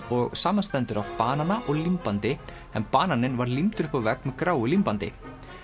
og samanstendur af banana og límbandi en bananinn var límdur upp á vegg með gráu límbandi